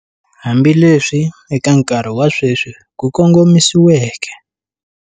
Hambileswi eka nkarhi wa sweswi ku kongomisiweke.